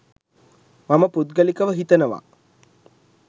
මම පුද්ගලිකව හිතනවා.